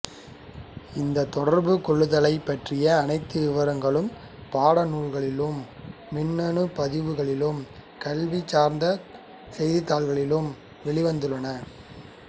இந்த தொடர்பு கொள்ளுதலைப் பற்றிய அனைத்து விவரங்களும் பாடநூல்களிலும் மின்னணு பதிப்புகளிலும் கல்வி சார்ந்த செய்திதாள்களிலும் வெளிவந்துள்ளன